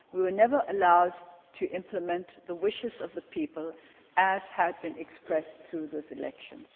we were never allowed to implement the wishes of the people, as had been expressed through those elections.